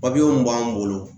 Papiyew mun b'an bolo ,